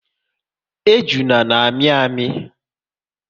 Ejuna na amị amị